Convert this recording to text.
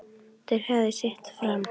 Þeir höfðu sitt fram.